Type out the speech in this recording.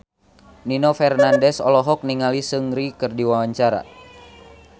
Nino Fernandez olohok ningali Seungri keur diwawancara